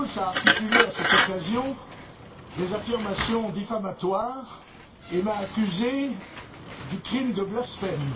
Schulz a articulé, à cette occasion, des affirmations diffamatoires et m'a accusé du crime de blasphème.